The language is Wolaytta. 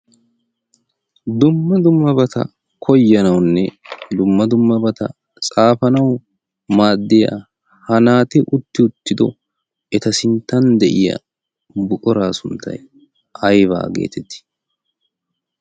dumma dummabata koyanaunne lumma dummabata xaafanau maaddiya ha naati utti uttido eta sinttan de'iya buqoraa sunttay aybaa geetettii?